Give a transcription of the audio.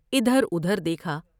ادھر ادھر دیکھا ۔